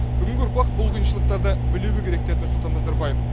бүгінгі ұрпақ бұл қиыншылықтарды білуі керек деді нұрсұлтан назарбаев